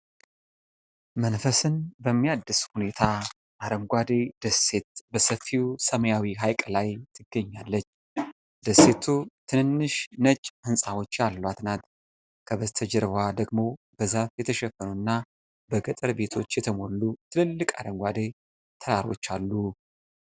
መንፈስን በሚያድስ ሁኔታ፣ አረንጓዴ ደሴት በሰፊው ሰማያዊ ሐይቅ ላይ ትገኛለች። ደሴቱ ትንንሽ ነጭ ሕንፃዎች ያሏት ናት፣ ከበስተጀርባዋ ደግሞ በዛፍ የተሸፈኑና በገጠር ቤቶች የተሞሉ ትልልቅ አረንጓዴ ተራሮች አሉ።